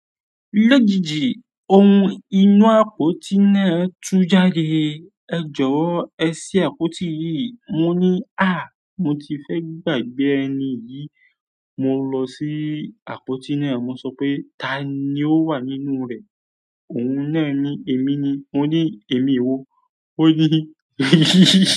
Lójijì ohun inú àpótí náà tú jáde. Ẹ jọ̀wọ́ ẹ sí àpótí yìí. Mo ní, à! Mo ti fẹ́ gbàgbé ẹni yìí. Mo lọ sí àpótí náà, mo sọ pé, "Tani ó wà nínú rẹ̀?" ohun náà ni. Emi wo mo ni emi ni oni i.